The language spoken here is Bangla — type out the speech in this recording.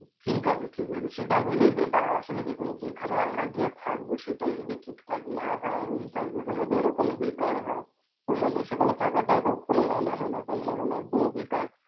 ঠিক আছে, ঠিক আছে সেটা হলেই better হয়. আসলে দেখুন যেখানে আমরা গিয়ে থাকবো সেটাই যদি ঠিক ঠাক না হয় এবং service ও যদি এমন বেকার হয়, তো মানে সেখানে থাকাটারও কোন মানে হয় না, তাই না? মানে একদমই বেকার.